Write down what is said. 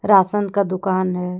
रासन का दुकान है।